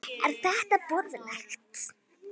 Er þetta boðlegt?